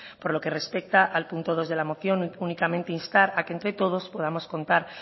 por lo que respecta al punto dos de la moción únicamente instar a que entre todos podamos contar